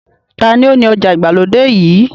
Ta ni ó ni ọjà ìgbàlódé yìí?